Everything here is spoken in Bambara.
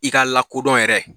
I ka lakodɔn yɛrɛ